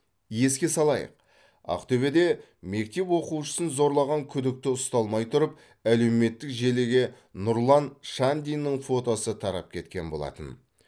еске салайық ақтөбеде мектеп оқушысын зорлаған күдікті ұсталмай тұрып әлеуметтік желіге нұрлан шандиннің фотосы тарап кеткен болатын